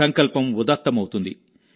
సంకల్పం ఉదాత్తమవుతుంది